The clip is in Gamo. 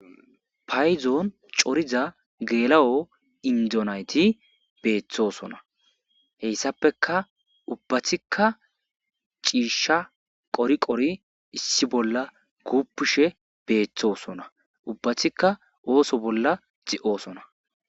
Paydon coriza geela7o indo nayti beetosona hessapekka ubbati issi bolla ciishsha issi bolla kuuppishe deettees ubbatika ooso bolla de7osona.